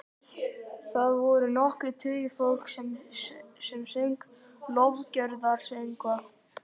Þar voru nokkrir tugir fólks sem söng lofgjörðarsöngva.